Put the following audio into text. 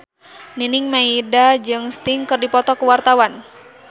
Nining Meida jeung Sting keur dipoto ku wartawan